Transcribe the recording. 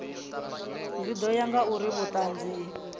zwi ḓo ya ngauri vhuṱanzi